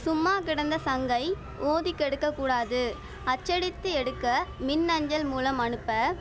சும்மா கிடந்த சங்கை ஊதி கெடுக்கக்கூடாது அச்சடித்து எடுக்க மின் அஞ்சல் மூலம் அனுப்ப